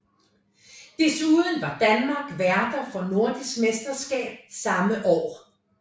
Desuden var Danmark værter for Nordisk Mesterskab samme år